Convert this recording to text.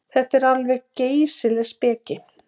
Þetta er alveg geysileg speki.